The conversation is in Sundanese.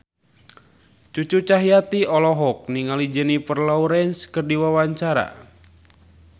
Cucu Cahyati olohok ningali Jennifer Lawrence keur diwawancara